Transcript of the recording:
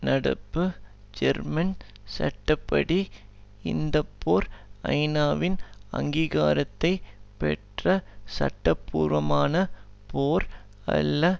நடப்பு ஜெர்மன் சட்ட படி இந்த போர் ஐநாவின் அங்கீகாரத்தைப்பெற்ற சட்டபூர்வமான போர் அல்ல